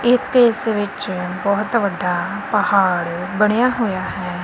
ਇੱਕ ਇਸ ਵਿੱਚ ਬਹੁਤ ਵੱਡਾ ਪਹਾੜ ਬਣਿਆ ਹੋਇਆ ਹੈ।